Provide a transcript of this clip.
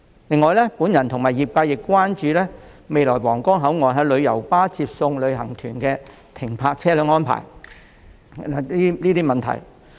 此外，我和業界人士亦關注到新皇崗口岸日後讓旅遊巴出入接送旅行團的停車安排的問題。